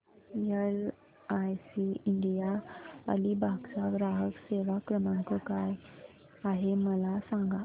LIC India Alibag चा ग्राहक सेवा क्रमांक काय आहे मला सांगा